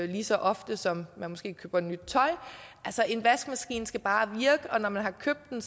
lige så ofte som man køber nyt tøj altså en vaskemaskine skal bare virke og når man har købt den